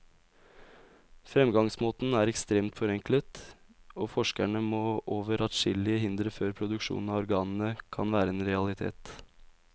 Fremgangsmåten er ekstremt forenklet, og forskerne må over adskillige hindre før produksjon av organene kan være en realitet.